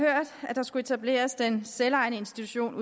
at der skulle etableres en selvejende institution